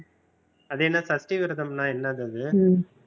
அது என்ன சஷ்டி விரதம்னா என்னது அது